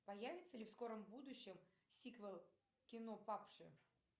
появится ли в скором будущем сиквел кино падшие